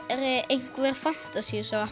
einhver